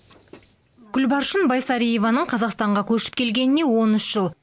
гүлбаршын байсариеваның қазақстанға көшіп келгеніне он үш жыл